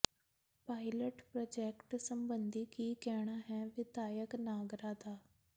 pilot project ਸਬੰਧੀ ਕੀ ਕਹਿਣਾ ਹੈ ਵਿਧਾਇਕ ਨਾਗਰਾ ਦਾ